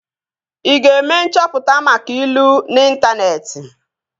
Ị ga-eme nchọpụta maka ilu n'intaneeti?